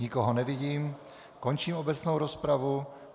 Nikoho nevidím, končím obecnou rozpravu.